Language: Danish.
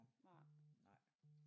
Nej nej